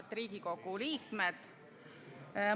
Head Riigikogu liikmed!